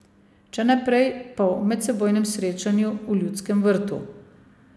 Če ne prej, pa v medsebojnem srečanju v Ljudskem vrtu.